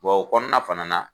Bɔn o kɔnɔna fana